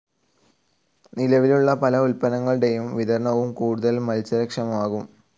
നിലവിലുള്ള പല ഉൽപ്പന്നങ്ങളുടെ വിതരണവും കൂടുതൽ മത്സര ക്ഷമമാകും.